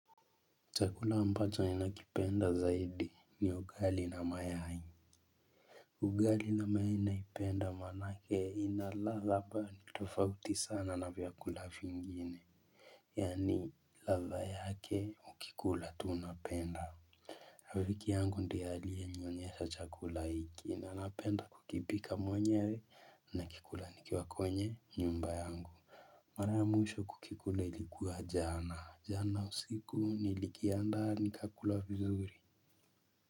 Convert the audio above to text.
Chakula ambacho ninakipenda zaidi ni ugali na mayai. Ugali na mayai naipenda manake ina ladha ambayo ni tofauti sana na vyakula fingine. Yani ladha yake ukikula tu unapenda rafiki yangu ndie aliyenionyesha chakula hiki na napenda kukipika mwenyewe nakikula nikiwa kwenye nyumba yangu mara ya mwisho kukikula ilikuwa jana jana usiku nilikiandaa nikakula vizuri.